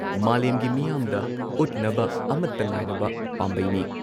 ꯃꯥꯂꯦꯝꯒꯤ ꯃꯤꯌꯥꯝꯗ ꯎꯠꯅꯕ ꯑꯃꯠꯇ ꯉꯥꯏꯔꯕ ꯄꯥꯝꯕꯩꯅꯤ ꯫